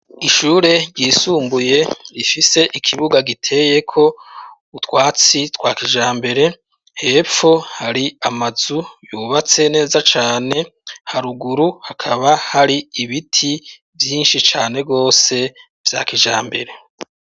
ishure ryisumbuye rifise ikibuga giteyeko utwatsi twa kijambere hepfo hari amazu yubatse neza cane haruguru hakaba hari ibiti vyinshi cane gwose vya kijambere